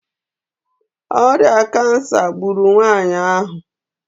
ọrịa kansa gburu nwanyị ahụ